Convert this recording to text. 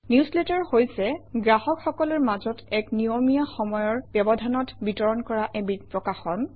newsletter হৈছে গ্ৰাহকসকলৰ মাজত এক নিয়মীয়া সময়ৰ ব্যৱধানত বিতৰণ কৰা এবিধ প্ৰকাশন